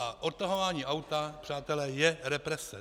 A odtahování auta, přátelé, je represe.